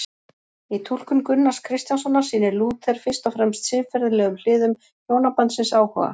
Í túlkun Gunnars Kristjánssonar sýnir Lúther fyrst og fremst siðferðilegum hliðum hjónabandsins áhuga.